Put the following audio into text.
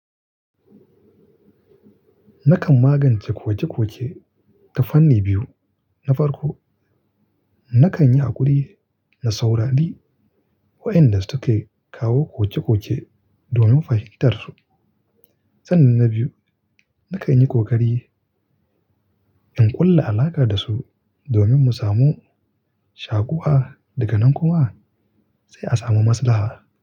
Nakan magance koke-koke ta fanni biyu. Na farko, nakan yi hakuri na saurari wa'inda suke kawo koke-koke domin fahimtar su. Sannan na biyu, nakan yi kokari in ƙulla alaƙa da su domin mu samu shakuwa. Daga nan kuma sai a samu maslaha.